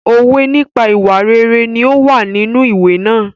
Òwe nípa ìwà rere ní ó wà nínú ìwé náà.